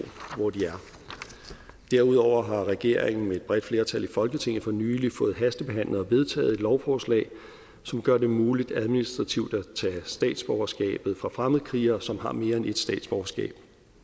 hvor de er derudover har regeringen med et bredt flertal i folketinget for nylig fået hastebehandlet og vedtaget et lovforslag som gør det muligt administrativt at tage statsborgerskabet fra fremmedkrigere som har mere end ét statsborgerskab